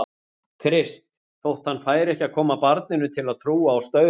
Krist, þótt hann færi ekki að koma barninu til að trúa á staura.